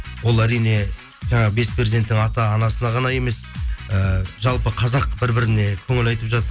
ол әрине жаңағы бес перзенттің ата анасына ғана емес ііі жалпы қазақ бір біріне көңіл айтып жатты